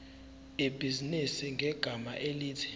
ibhizinisi ngegama elithi